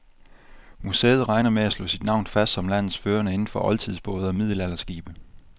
Museet regner med at slå sit navn fast som landets førende inden for oldtidsbåde og middelalderskibe.